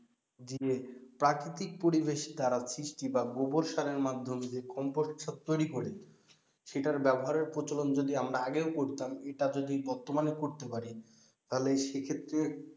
দিয়ে প্রাকৃতিক পরিবেশ দ্বারা সৃষ্টি বা গোবর সারের মাধ্যমে যে composesar তৈরি করে সেটার ব্যবহারের প্রচলন যদি আমরা আগেও করতাম এটা যদি বর্তমানেও করতে পারি তাহলে সেক্ষেত্রে,